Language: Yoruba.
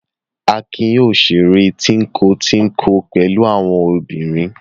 Akin yoo ṣeré tínko-tínko pẹ̀lú àwọn obìnrin.